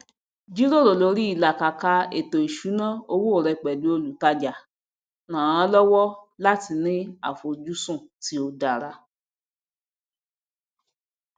jíjíròrò lòrí ìlàkàkà ètòìṣúná owó rẹ pẹlu olùtajà rànán lọwọ láti ní àfojúsùn tí ó dára